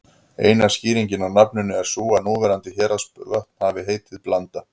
Eina skýringin á nafninu er sú að núverandi Héraðsvötn hafi heitið Blanda.